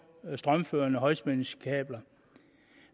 strømførende højspændingskabler